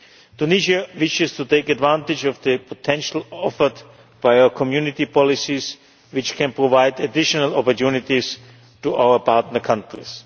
Tunisia wishes to take advantage of the potential offered by our Community policies, which can provide additional opportunities for our partner countries.